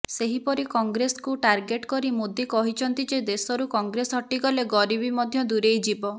ସେହିପରି କଂଗ୍ରେସକୁ ଟାର୍ଗେଟ କରି ମୋଦି କହିଛନ୍ତି ଯେ ଦେଶରୁ କଂଗ୍ରେସ ହଟିଗଲେ ଗରିବୀ ମଧ୍ୟ ଦୂରେଇ ଯିବ